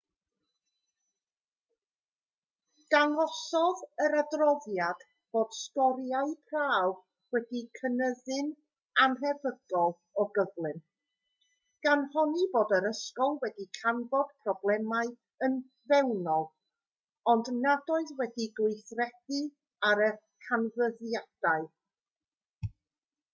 dangosodd yr adroddiad fod sgoriau prawf wedi cynyddu'n annhebygol o gyflym gan honni bod yr ysgol wedi canfod problemau yn fewnol ond nad oedd wedi gweithredu ar y canfyddiadau